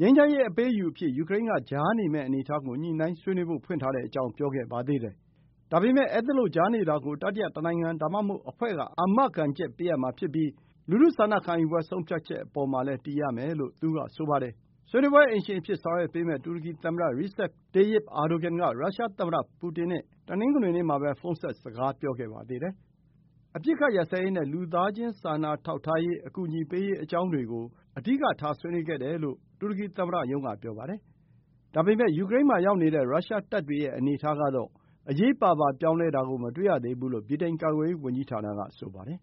ငြိမ်းချမ်းရေး အပေးအယူအဖြစ် ယူကရိန်းက ကြားနေမယ့် အနေအထားကို ညှိုနှိုင်းဆွေးနွေးဖို့ ဖွင့်ထားကြောင်း ပြောခဲ့ပါသေးတယ်။ ဒါပေမယ့် အဲဒီလို ကြားနေတာကို တတိယတနိုင်ငံ ဒါမှမဟုတ် အဖွဲ့က အာမခံချက်ပေးရမှာ ဖြစ်ပြီး လူထုဆန္ဒခံယူပွဲ ဆုံးဖြတ်ချက်အပေါ်မှာလည်း တည်ရမယ်လို့ သူက ဆိုပါတယ်။ ဆွေးနွေးပွဲအိမ်ရှင်အဖြစ် ဆောင်ရွက်ပေးမယ့် တူရကီသမ္မတ Recep Tayyip Erdogan က ရုရှားသမ္မတပူတင်နဲ့ တနင်္ဂနွေနေ့မှာပဲ ဖုန်းဆက်စကားပြောခဲ့ပါသေးတယ်။ အပစ်အခတ်ရပ်စဲရေးနဲ့ လူသားချင်းစာနာထောက်ထားရေး အကူအညီပေးရေး အကြောင်းတွေကို အဓိကထား ဆွေးနွေးခဲ့တယ်လို့ တူရကီသမ္မတရုံးက ပြောပါတယ်။ ဒါပေမယ့် ယူကရိန်းမှာရောက်နေတဲ့ ရုရှားတပ်တွေရဲ့ အနေအထားကတော အရေးပါပါ ပြောင်းလဲတာကို မတွေ့ရသေးဘူးလို့ ဗြိတိန် ကာကွယ်ရေးဝန်ကြီးဌာနက ပြောပါတယ်။